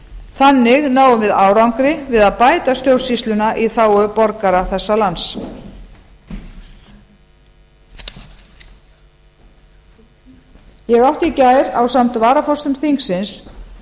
þannig náum við árangri við að bæta stjórnsýsluna í þágu borgara þessa lands ég átti í gær ásamt varaforsetum þingsins